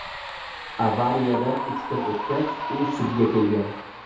Avariyadan uch kun o‘tgach, u sudga kelgan.